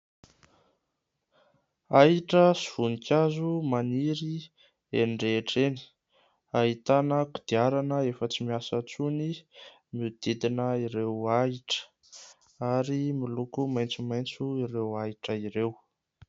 Ahitra sy voninkazo maniry eny rehetra eny ahitana kodiarana efa tsy miasa intsony mihodidina ireo ahitra ary miloko maitsomaitso ireo ahitra ireo.